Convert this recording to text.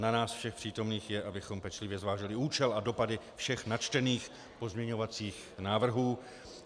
Na nás všech přítomných je, abychom pečlivě zvážili účel a dopady všech načtených pozměňovacích návrhů.